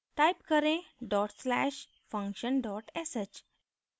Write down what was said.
type करें dot slash function dot sh